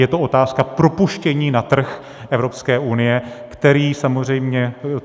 Je to otázka propuštění na trh Evropské unie, který samozřejmě...